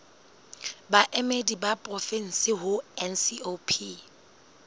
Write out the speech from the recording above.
baemedi ba porofensi ho ncop